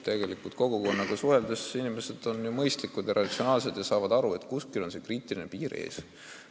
Tegelikult olen kogukonnaga suheldes kinnitust saanud, et inimesed on mõistlikud ja ratsionaalsed ja saavad aru, et kuskil on kriitiline piir ees.